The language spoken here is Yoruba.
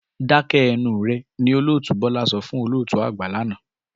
Dákẹ́ ẹnu rẹ̀! Ní Olótùú Bọ́lá sọ fún olótùú àgbà lánàá.